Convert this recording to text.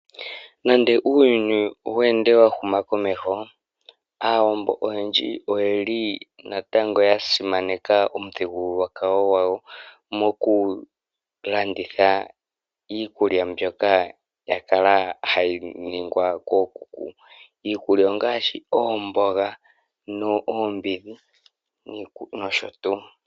Nande uuyuni owu ende wa huma komeho aawambo oyendji oyeli natango ya simaneka omithigululwakalo gwayo . Moku landitha iikulya mbyoka yakala hayi ningwa kookuku. Iikulya ongaashi oomboga nosho tuu.